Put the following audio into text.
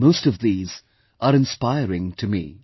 Most of these are inspiring to me